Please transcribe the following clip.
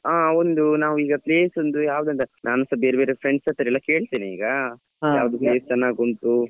ಹ ಒಂದು ನಾವ್ ಈಗ place ಒಂದ್ ಯವಾದಂತಾ ನಾನ್ಸ ಬೇರೆ ಬೇರೆ friends ಹತ್ರ ಎಲ್ಲ ಕೇಳ್ತೇನೆ ಈಗ ಯಾವ್ದು place ಚೆನ್ನಾಗುಂಟು.